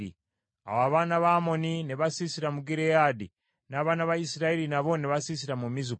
Awo abaana ba Amoni ne basiisira mu Gireyaadi, n’abaana ba Isirayiri nabo ne basiisira mu Mizupa.